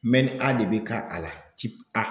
A de bɛ ka a la A